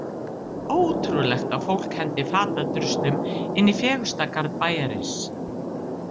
Ótrúlegt að fólk henti fatadruslum inn í fegursta garð bæjarins.